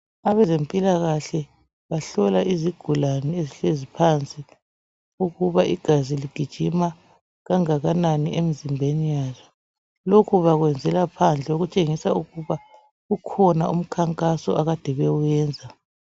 Abezempilakahle bahlola izigulane ezihlezi phansi ukuba igazi ligijima kangakanani emzimbeni yayo kokhu bakuyenzela phandle ukuthengisa ukuba kukhona umkhankaso akade bewuyenza